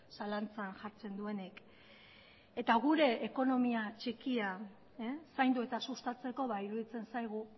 zalantzan jartzen duenik eta gure ekonomia txikia zaindu eta sustatzeko iruditzen zaigu